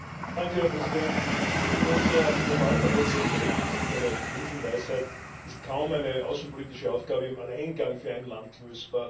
Herr Präsident! In unserer global vernetzten Welt das ist eine Binsenweisheit ist kaum eine außenpolitische Aufgabe im Alleingang für ein Land lösbar.